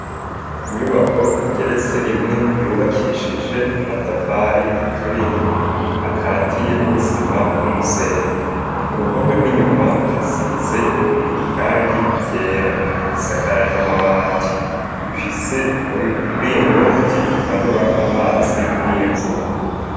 Inyubako igeretse rimwe yubakishije amatafari aturiye akatiye n'isima n'umusenyi ku ruhome rw'inyuma hasize iryangi ryera isakaje amabati ifise umuringoti umanura amazi y'imvura.